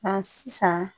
Ɔ sisan